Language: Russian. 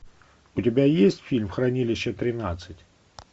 у тебя есть фильм хранилище тринадцать